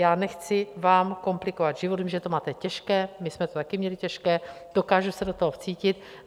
Já nechci vám komplikovat život, vím, že to máte těžké, my jsme to taky měli těžké, dokážu se do toho vcítit.